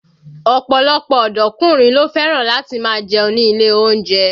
Ọ̀pọ̀lọpọ̀ ọ̀dọ́kùnrin ló fẹ́ràn láti máa jẹun ní ilé oúnjẹ